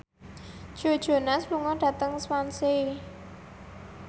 Joe Jonas lunga dhateng Swansea